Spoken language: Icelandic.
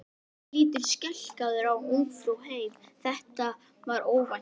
Hann lítur skelkaður á Ungfrú heim, þetta var óvænt!